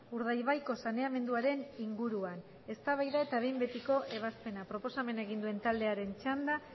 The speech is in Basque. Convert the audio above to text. urdaibaiko saneamenduaren inguruan eztabaida eta behin betiko ebazpena proposamena egin duen taldearen txanda